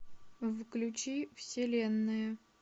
включи вселенная